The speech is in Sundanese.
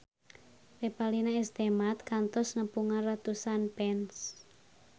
Revalina S. Temat kantos nepungan ratusan fans